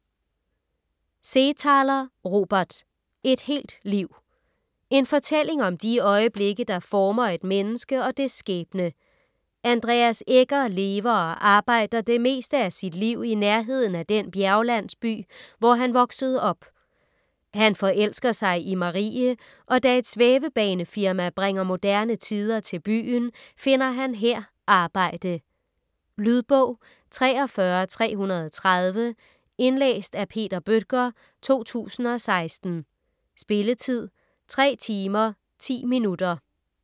Seethaler, Robert: Et helt liv En fortælling om de øjeblikke, der former et menneske og dets skæbne. Andreas Egger lever og arbejder det meste af sit liv i nærheden af den bjerglandsby, hvor han voksede op. Han forelsker sig i Marie, og da et svævebanefirma bringer moderne tider til byen, finder han her arbejde. Lydbog 43330 Indlæst af Peter Bøttger, 2016. Spilletid: 3 timer, 10 minutter.